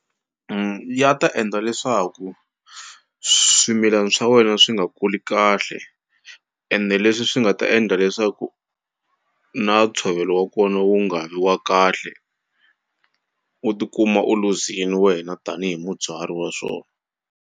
Ya ta endla leswaku swimilani swa wena swi nga kuli kahle ende leswi swi nga ta endla leswaku na ntshovelo wa kona wu nga vi wa kahle u tikuma u luzini wena tanihi mubyari wa swona.